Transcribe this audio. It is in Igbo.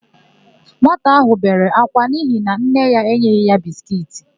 Nwata áhụ̀ bere akwa n'ihi na nne ya enyeghị ya biskiiti.